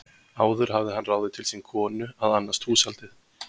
Áður hafði hann ráðið til sín konu að annast húshaldið.